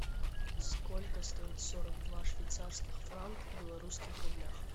сколько стоит сорок два швейцарских франка в белорусских рублях